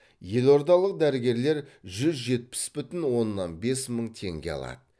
елордалық дәрігерлер жүз жетпіс бүтін оннан бес мың теңге алады